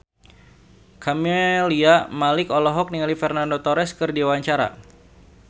Camelia Malik olohok ningali Fernando Torres keur diwawancara